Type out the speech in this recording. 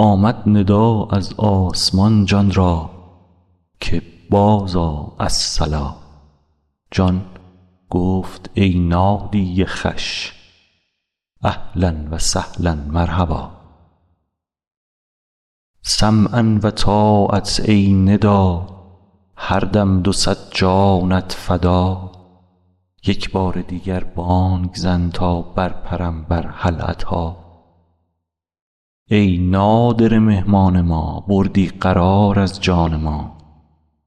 آمد ندا از آسمان جان را که بازآ الصلا جان گفت ای نادی خوش اهلا و سهلا مرحبا سمعا و طاعه ای ندا هر دم دو صد جانت فدا یک بار دیگر بانگ زن تا برپرم بر هل اتی ای نادره مهمان ما بردی قرار از جان ما